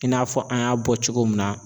I n'a fɔ an y'a bɔ cogo min na.